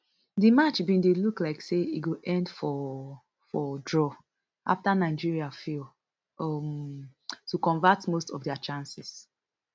di match bin dey look like say e go end for for draw afta nigeria fail um to convert most of dia chances